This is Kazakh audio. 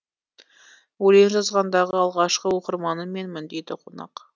өлең жазғандағы алғашқы оқырманы менмін дейді қонақ